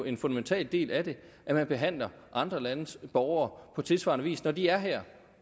en fundamental del af det at man behandler andre landes borgere på tilsvarende vis når de er her